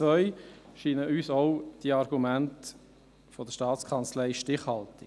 Auch scheinen uns die Argumente der Staatskanzlei zum Punkt 2 stichhaltig.